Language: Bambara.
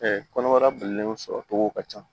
kɔnɔbara bilenlen sɔrɔ togo ka ca